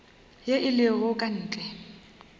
ye e lego ka ntle